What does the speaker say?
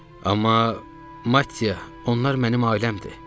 Amma Mattia, onlar mənim ailəmdir.